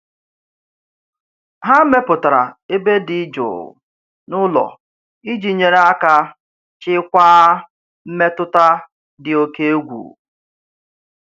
Ha mepụtara ebe dị jụụ n'ụlọ iji nyere aka chịkwaa mmetụta dị oke egwu.